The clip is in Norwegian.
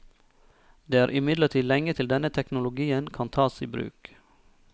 Det er imidlertid lenge til denne teknologien kan tas i bruk.